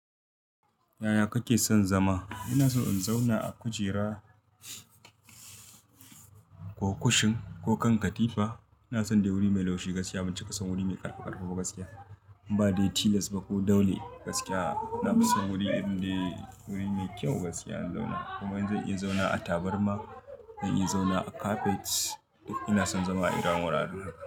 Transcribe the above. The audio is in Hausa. Yaya kake son zama? Ina so in zauna a kujera ko kushin ko kan katifa. Ina son dai wuri mai laushi gaskiya, ban cika son wuri mai ƙarfi ƙarfi ba gaskiya. In ba da tilas ba ko daule gaskiya. Ina son wuri irin dai wuri mai kyau gaskiya in zauna. Kuma in zan iya zauna a taburma, zan iya zauna a carpet. Ina son zama a irin wuraren haka.